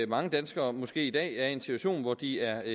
mange danskere måske i dag er i en situation hvor de er